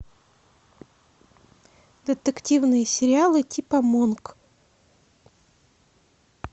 детективные сериалы типа монк